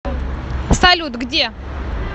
салют где